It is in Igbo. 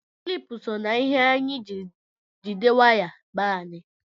Kilipu so na ihe anyị jiri jide waya be anyị